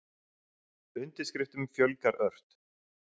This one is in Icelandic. Undirskriftum fjölgar ört